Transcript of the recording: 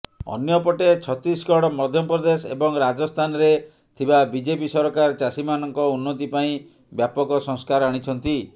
ଅନ୍ୟପଟେ ଛଡିଶଗଡ ମଧ୍ୟପ୍ରଦେଶ ଏବଂ ରାଜସ୍ଥାନରେ ଥିବା ବିଜେପି ସରକାର ଚାଷୀମାନଙ୍କ ଉନ୍ନତି ପାଇଁ ବ୍ୟାପକ ସଂସ୍କାର ଆଣିଛନ୍ତି